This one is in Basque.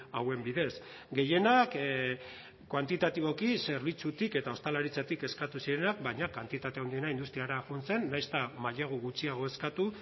hauen bidez gehienak kuantitatiboki zerbitzutik eta ostalaritzatik eskatu zirenak baina kantitate handiena industriara joan zen nahiz eta mailegu gutxiago eskatu